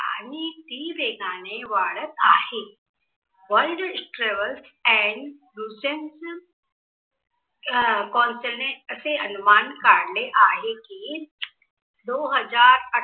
आणि ती वेगाने वाढत आहे. worlds travels and essential consulate असे अनुमान काढले आहे, कि दो हजार अठरा